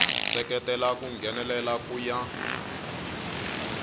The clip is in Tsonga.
seketela ku nghenelela ku ya